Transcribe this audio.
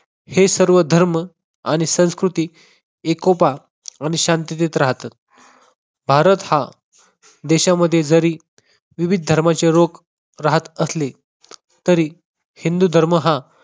हे सर्व धर्म आणि संस्कृती एकोपा आणि शांततेत राहतात. भारत हा देशांमध्ये जरी विविध धर्माचे लोक राहत असले तरी हिंदू धर्म हा